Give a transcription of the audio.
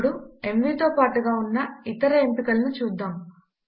ఇప్పుడు ఎంవీ తో పాటుగా ఉన్న ఇతర ఎంపికలను చూద్దాము